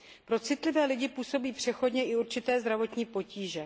Pro citlivé lidi působí přechodně i určité zdravotní potíže.